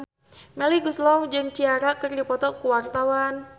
Melly Goeslaw jeung Ciara keur dipoto ku wartawan